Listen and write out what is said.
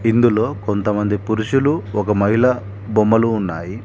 ఇందులో కొంత మంది పురుషులు ఒక మహిళ బొమ్మలు ఉన్నాయి.